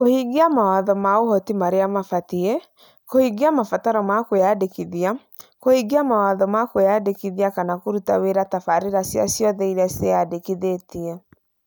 Kũhingia mawatho ma ũhoti marĩa mabatie, kũhingia mabataro ma kwĩyandĩkithia, kũhingia mawatho ma kwĩyandĩkithia kana kũruta wĩra tabarĩra cia ciothe irĩa ciĩyandĩkithĩtie.